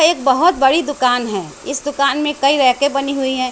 एक बहुत बड़ी दुकान है इस दुकान में कई रैके बनी हुई हैं।